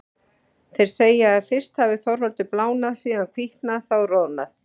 Þeir segja að fyrst hafi Þorvaldur blánað, síðan hvítnað, þá roðnað.